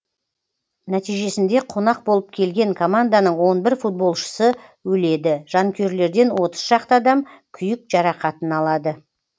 нәтижесінде қонақ болып келген команданың он бір футболшысы өледі жанкүйерлерден отыз шақты адам күйік жарақатын алады